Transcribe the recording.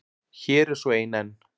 Hér er svo ein enn.